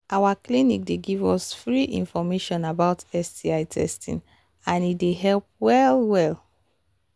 our clinic they give us give us free information about sti testing and he they help well well